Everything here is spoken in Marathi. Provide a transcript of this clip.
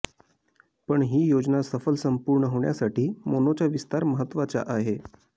पण ही योजना सफल संपूर्ण होण्यासाठी मोनोचा विस्तार महत्त्वाचा आहे